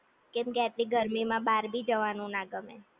કેમ કે આટલી ગરમી માં બાહર ભી જવાનું ના ગમે.